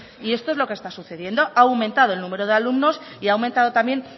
y esto es lo que está sucediendo ha aumentado el número de alumnos y aumentado también